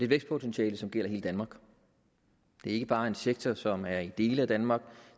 vækstpotentiale som gælder hele danmark det er ikke bare en sektor som er i dele af danmark